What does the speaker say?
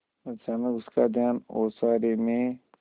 अचानक उसका ध्यान ओसारे में